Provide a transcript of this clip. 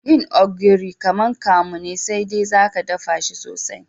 Yin ogiri kaman kamu ne sai de zaka daffa shi sosai.